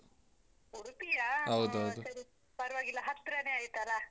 ಉಡ್ಪಿಯಾ ಪರ್ವಾಗಿಲ್ಲ ಹತ್ರಾನೆ ಆಯ್ತಲ್ಲ.